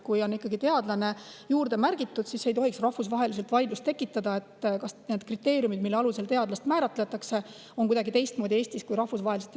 Kui on ikkagi "teadlane" juurde märgitud, siis ei tohiks rahvusvaheliselt tekkida vaidlust, kas need kriteeriumid, mille alusel teadlast määratletakse, on Eestis kuidagi teistsugused kui rahvusvaheliselt.